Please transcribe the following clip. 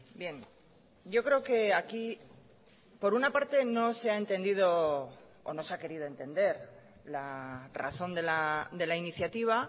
bien yo creo que aquí por una parte no se ha entendido o no se ha querido entender la razón de la iniciativa